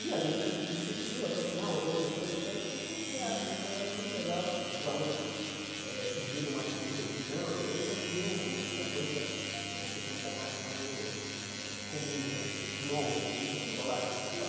E a gente insistiu até o final, organizou e tal, e foi um sucesso né, foi um negócio muito legal, dos alunos eh pedirem uma segunda edição, eles já queriam que a coisa eh se transformasse em algo eh comum né, anualmente rolasse isso na escola.